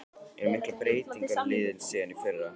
Eru miklar breytingar á liðinu síðan í fyrra?